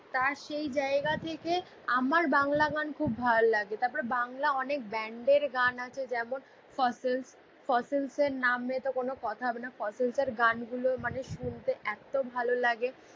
তার সেই জাইগা থেকে আমার বাংলা গান খুব ভাল লাগে তারপর বাংলা অনেক ব্যান্ড এর অনেক গান আছে যেমন ফসেলস ফসেলস এর নাম এ তো কোনো কথা হবে না ফসেলস এর গান গুলো মানে শুনতে এত ভাল লাগে